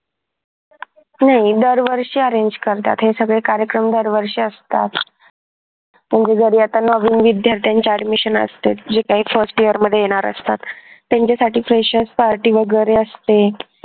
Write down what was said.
नाही दरवर्षी arrange करतात हे सगळे कार्यक्रम दरवर्षी असतात म्हणजे जरी आता नवीन विद्यार्थ्यांचे admission असते जे काही first year मध्ये येणार असतात त्यांच्यासाठी freshers party वगैरे असते.